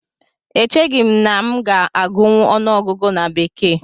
Echeghị m na m ga-agụnwu ọnụọgụgụ na bekee